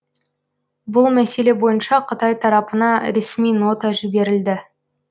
бұл мәселе бойынша қытай тарапына ресми нота жіберілді